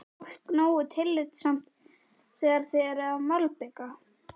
Er fólk nógu tillitsamt þegar þið eruð að malbika?